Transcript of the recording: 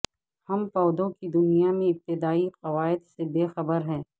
ہم پودوں کی دنیا میں ابتدائی قواعد سے بے خبر ہیں